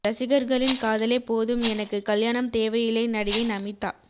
ரசிகர்களின் காதலே போதும் எனக்கு கல்யாணம் தேவையில்லை நடிகை நமீதா